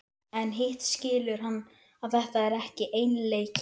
Vita að leit þeirra, kvöl og nautn eru systur lífslyginnar.